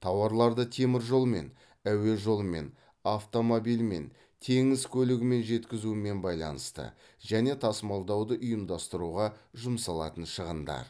тауарларды теміржолмен әуе жолымен автомобильмен теңіз көлігімен жеткізумен байланысты және тасымалдауды ұйымдастыруға жұмсалатын шығындар